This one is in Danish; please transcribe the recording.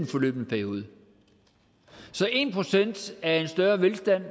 forløbne periode så en procent af en større velstand